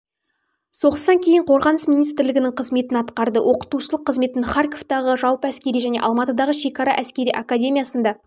соғыстан кейін қорғаныс министірлігінің қызметін атқарды оқытушылық қызметін харковтағы жалпы әскери және алматыдағы шекара әскери академиясында